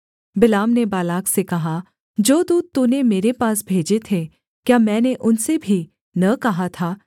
बिलाम ने बालाक से कहा जो दूत तूने मेरे पास भेजे थे क्या मैंने उनसे भी न कहा था